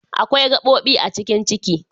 Akwai gabobi a cikin Ciki.